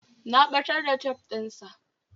Na ɓatar da tef ɗin sa